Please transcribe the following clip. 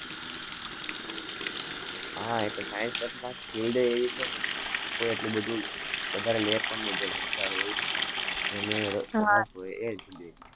હા, એ તો science પછી પાછી field ય એવી છે ને કોઈ એટલું બધું, વધારે લે પણ નહિ જેને હોય એ જ લે.